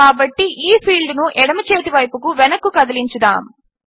కాబట్టి ఈ ఫీల్డ్ను ఎడమచేతివైపుకు వెనక్కు కదిలించుదాము